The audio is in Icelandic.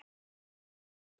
Hann drakk.